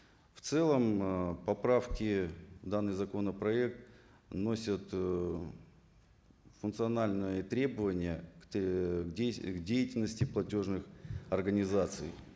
в целом ыыы поправки в данный законопроект носят ыыы функциональные требования к деятельности платежных организаций